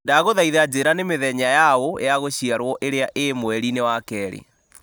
ndagũthaitha njĩra nĩ mĩthenya ya ũũ ya gũciarwo ĩrĩa ĩ mweri-inĩ wa kerĩ